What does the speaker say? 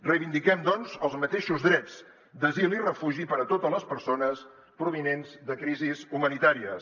reivindiquem doncs els mateixos drets d’asil i refugi per a totes les persones provinents de crisis humanitàries